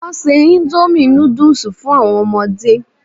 Wọ́n se indomie noodles fun àwọn ọmọdé